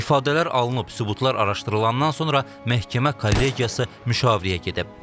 İfadələr alınıb, sübutlar araşdırılandan sonra məhkəmə kollegiyası müşavirəyə gedib.